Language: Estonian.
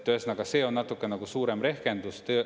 Ühesõnaga, see on natuke nagu suurem rehkendus.